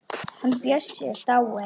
Hann Bjössi er dáinn.